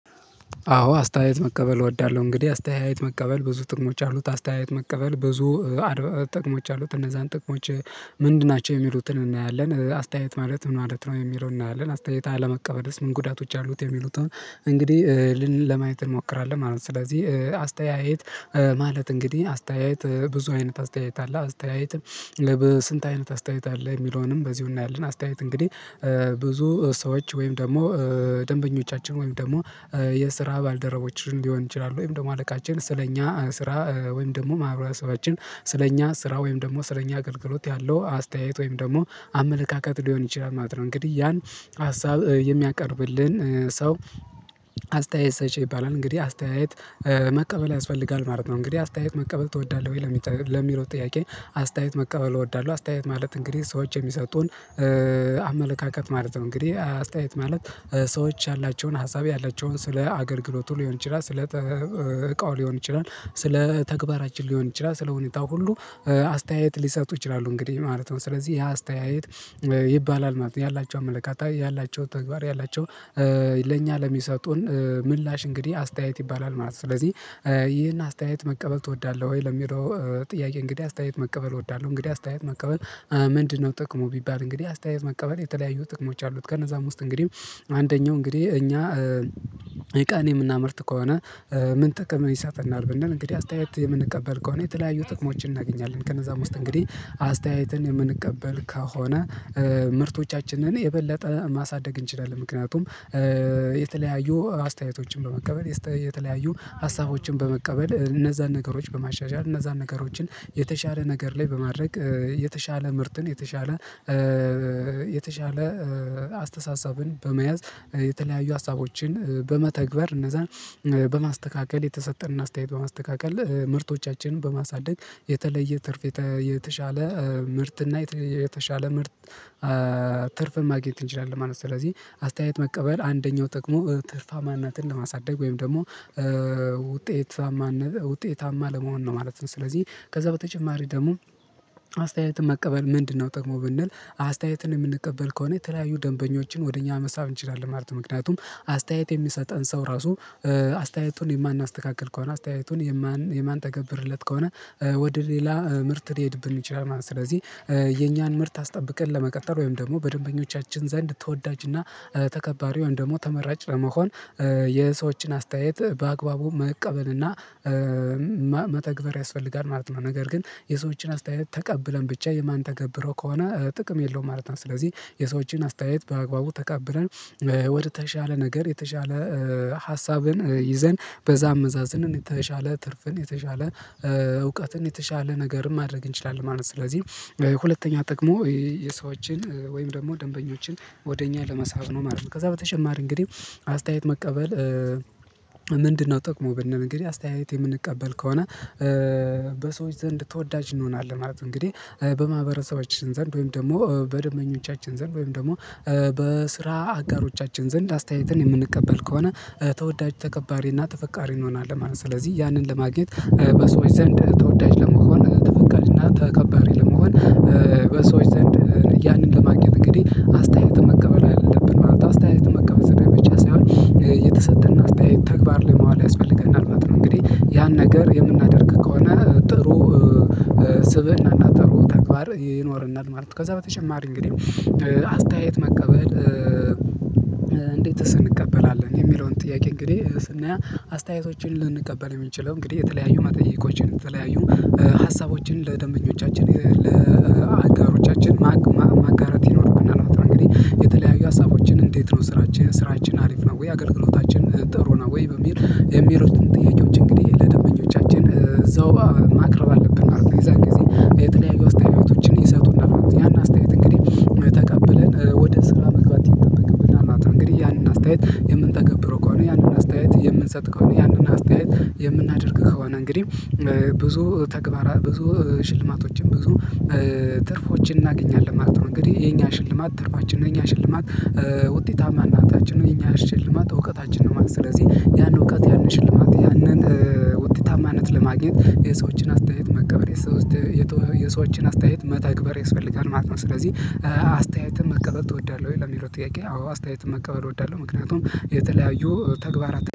አዎ አስተያየት መቀበል እወዳለሁ እንግዲህ አስተያየት መቀበል ብዙ ጥቅሞች አሉት አስተያየት መቀበል ብዙ ጥቅሞች አሉት እነዛን ጥቅሞች ምንድን ናቸው የሚሉትን እናያለን አስተያየት ማለት ምን ማለት ነው የሚለውን እናያለን አስተያየት አለመቀበልስ ምን ጉዳቶች አሉት የሚሉት እንግዲህ ለማየት እንሞክራለን ማለት ነው ስለዚህ አስተያየት ማለት እንግዲህ አስተያየት ብዙ አይነት አስተያየት አለ አስተያየትም ለበስንት አይነት አስተያየት አለ የሚለውንም በዚሁ እናያለን አስተያየት እንግዲህ ብዙ ሰዎች ወይም ደግሞ ደንበኞቻችን ወይም ደግሞ የስራ ባልደረቦችን ሊሆን ይችላል ወይም ደግሞ አለቃችን ስለኛ ስራ ወይም ደግሞ ማህበረሰባችን ስለኛ ስራ ወይም ደግሞ ስለኛ አገልግሎት ያለው አስተያየት ወይም ደግሞ አመለካከት ሊሆን ይችላል ማለት ነው እንግዲህ ያን ሀሳብ የሚያቀርብልን ሰው አስተያየት ሰጭ ይባላል እንግዲህ አስተያየት መቀበል ያስፈልጋል ማለት ነው እንግዲህ አስተያየት መቀበል ትወዳለህ ወይ? ለሚለው ጥያቄ አስተያየት መቀበል እወዳለሁ አስተያየት ማለት እንግዲህ ሰዎች የሚሰጡን አመለካከት ማለት ነው እንግዲህ አስተያየት ማለት ሰዎች ያላቸውን ሀሳብ ያላቸውን ስለ አገልግሎቱ ሊሆን ይችላል ስለ እቃው ሊሆን ይችላል ስለ ተግባራችን ሊሆን ይችላል ስለሁኔታው ሁሉ አስተያየት ሊሰጡ ይችላሉ እንግዲህ ማለት ነው ስለዚህ ያ አስተያየት ይባላል ማለት ያላቸው አመለካታዊ ያላቸው ተግባር ያላቸው ለእኛ ለሚሰጡን ምላሽ እንግዲህ አስተያየት ይባላል ማለት ነው ስለዚህ ይህን አስተያየት መቀበል ትወዳለህ ወይ? ለሚለው ጥያቄ እንግዲህ አስተያየት መቀበል እወዳለሁ እንግዲህ አስተያየት መቀበል ምንድነው ጥቅሙ ቢባል እንግዲህ አስተያየት መቀበል የተለያዩ ጥቅሞች አሉት ከነዛም ውስጥ እንግዲህ አንደኛው እንግዲህ እኛ እቃን የምናመርት ከሆነ ምን ጥቅም ይሰጠናል ብንል እንግዲህ አስተያየት የምንቀበል ከሆነ የተለያዩ ጥቅሞችን እናገኛለን ከነዛም ውስጥ እንግዲህ አስተያየትን የምንቀበል ከሆነ ምርቶቻችንን የበለጠ ማሳደግ እንችላለን ምክንያቱም የተለያዩ አስተያየቶችን በመቀበል የተለያዩ ሀሳቦችን በመቀበል እነዛን ነገሮች በማሻሻል እነዛን ነገሮችን የተሻለ ነገር ላይ በማድረግ የተሻለ ምርትን የተሻለ የተሻለ አስተሳሰብን በመያዝ የተለያዩ ሀሳቦችን በመተግበር እነዛን በማስተካከል የተሰጠንን አስተያየት በማስተካከል ምርቶቻችንን በማሳደግ የተለየ ትርፍ የተሻለ ምርት እና የተሻለ ምርጥ ትርፍን ማግኘት እንችላለን ማለት ነው ስለዚህ አስተያየት መቀበል አንደኛው ጥቅሙ ትርፋማናትን ለማሳደግ ወይም ደግሞ ውጤታማነ ውጤታማ ለመሆን ነው ማለት ነው ስለዚህ ከዛ በተጨማሪ ደግሞ አስተያየትን መቀበል ምንድነው ደግሞ ብንል አስተያየትን የምንቀበል ከሆነ የተለያዩ ደንበኞችን ወደ እኛ መሳብ እንችላለን ማለት ነው ምክንያቱም አስተያየት የሚሰጠን ሰው ራሱ አስተያየቱን የማናስተካክል ከሆነ አስተያየቱን የማን የማንተገብርለት ከሆነ ወደ ሌላ ምርት ሊሄድብን ይችላል ማለት ስለዚህ የኛን ምርት አስጠብቀን ለመቀጠል ወይም ደግሞ በደንበኞቻችን ዘንድ ተወዳጅና ተከባሪው ወይም ደግሞ ተመራጭ ለመሆን የሰዎችን አስተያየት በአግባቡ መቀበል እና መተግበር ያስፈልጋል ማለት ነው ነገር ግን የሰዎችን አስተያየት ተቀብለን ብቻ የማን ተገብረው ከሆነ ጥቅም የለውም ማለት ነው ስለዚህ የሰዎችን አስተያየት በአግባቡ ተቀብለን ወደተሻለ ነገር የተሻለ ሀሳብን ይዘን በዛ አመዛዝነን የተሻለ ትርፍን የተሻለ እውቀትን የተሻለ ነገርም ማድረግ እንችላለን ማለት ነው ስለዚህ ሁለተኛ ጠቅሞ የሰዎችን ወይም ደግሞ ደንበኞችን ወደ እኛ ለመሳብ ነው ማለት ነው ከዛ በተጨማሪ እንግዲህ አስተያየት መቀበል ምንድነው ጥቅሙ ብንል እንግዲህ አስተያየት የምንቀበል ከሆነ በሰዎች ዘንድ ተወዳጅ እንሆናለን እንግዲህ በማህበረሰባችን ዘንድ ወይም ደግሞ በደንበኞቻችን ዘንድ ወይም ደግሞ በስራ አጋሮቻችን ዘንድ አስተያየትን የምንቀበል ከሆነ ተወዳጅ ተከባሪና ተፈቃሪ እንሆናለን ማለት ነው ስለዚህ ያንን ለማግኘት በሰዎች ዘንድ ተወዳጅ ለመሆን ተፈቃሪና ተከባሪ ለመሆን በሰዎች ዘንድ ያንን ለማግኘት እንግዲህ አስተያየትን መቀበል አለብን ማለት ነው አስተያየትን መቀበል ስራዬ ብቻ ሳይሆን የተሰጠንን አስተያየት ተግባር ላይ ማዋል ያስፈልገናል እና እንግዲህ ያን ነገር የምናደርግ ከሆነ ጥሩ ስብእና እና ጥሩ ተግባር ይኖረናል ማለት ነው ከዛ በተጨማሪ እንግዲህ አስተያየት መቀበል እንዴትስ እንቀበላለን የሚለውን ጥያቄ እንግዲህ ስናያ አስተያየቶችን ልንቀበል የምንችለው እንግዲህ የተለያዩ መጠየቆችን የተለያዩ ሀሳቦችን ለደንበኞቻችን ለአጋሮቻችን ማጋራት ይኖርብናል ማለት ነው እንግዲህ የተለያዩ ሀሳቦችን እንዴት ነው ስራችን ስራችን አሪፍ ነው ወይ አገልግሎታችን ጥሩ ነው ወይ በሚል የሚሉትን ጥያቄዎች እንግዲህ ለደንበኞቻችን እዛው ማቅረብ አለብን ነው የዛን ጊዜ የተለያየ ውስጥ ህይወቶችን ይሰጡና ያን አስተያየት እንግዲህ ተቀበለን ወደ ስራ መግባት ይጠበቅብናል ማለት ነው እንግዲህ ያንን አስተያየት የምንጠገብረው ከሆነ ያንን አስተያየት የምንሰጥ ከሆነ ያንን አስተያየት የምናደርግ ከሆነ እንግዲህ ብዙ ተግባራት ብዙ ሽልማቶችም ብዙ ትርፎችን እናገኛለን ማለት ነው እንግዲህ የኛ ሽልማት ትርፋችን የኛ ሽልማት ውጤታማነታችን እኛ ሽልማት እውቀታችን ነው ማለት ስለዚህ ያንን እውቀት ያንን ሽልማት ያንን ውጤታማነት ለማግኘት የሰዎችን አስተያየት መቀበል የሰዎችን አስተያየት መተግበር ያስፈልጋል ማለት ነው ስለዚህ አስተያየትን መቀበል ትወዳለህ ወይ? ለሚለው ጥያቄ አዎ አስተያየትን መቀበል እወዳለሁ ምክንያቱም የተለያዩ ተግባራት